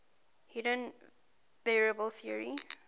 hidden variable theory